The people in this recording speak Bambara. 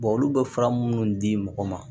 olu bɛ fura minnu di mɔgɔ ma